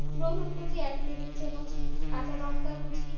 রসুন কুচি এক table চামচ কাঁচা লঙ্কা কুচি